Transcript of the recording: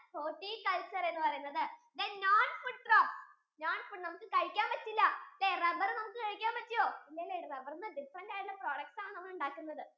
horticulture എന്ന് പറയുന്നത് then non food crops, non foods നമുക്ക് കഴിക്കാൻ പറ്റില്ല rubber നമുക്ക് കഴിക്കാൻ പറ്റുവോ ഇല്ലാലെ rubber യിൽ നിന്ന് different ആയിട്ടുള്ള products ആണ് നമ്മൾ ഉണ്ടാകുന്നത്